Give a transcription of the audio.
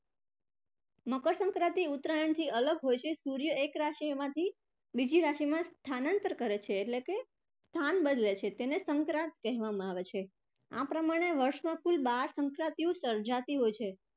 મકરસંક્રાંતિ ઉત્તરાયણથી અલગ હોય છે. સૂર્ય એક રાશિમાંથી બીજી રાશિમાં સ્થાનાંતર કરે છે એટલે કે સ્થાન બદલે છે તેને સંક્રાંત કહેવામાં આવે છે. આ પ્રમાણે વર્ષમાં કુલ બાર સંક્રાંતિઓ સર્જાતી હોય છે.